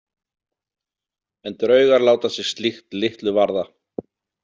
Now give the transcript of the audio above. En draugar láta sig slíkt litlu varða.